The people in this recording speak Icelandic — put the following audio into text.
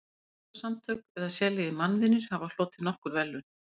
Mannúðarsamtök eða sérlegir mannvinir hafa hlotið nokkur verðlaun.